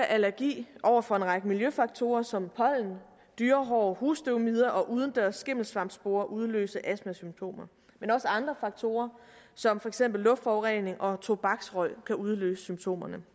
allergi over for en række miljøfaktorer som pollen dyrehår husstøvmider og udendørs skimmelsvampsporer udløse astmasymptomer men også andre faktorer som for eksempel luftforurening og tobaksrøg kan udløse symptomerne